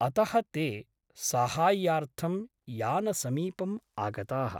अतः ते साहाय्यार्थं यानसमीपम् आगताः ।